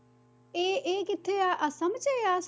ਇਹ ਇਹ ਕਿੱਥੇ ਆ ਆਸਾਮ 'ਚ ਜਾਂ